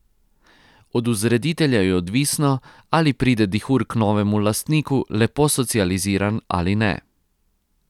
Od vzreditelja je odvisno, ali pride dihur k novemu lastniku lepo socializiran ali ne.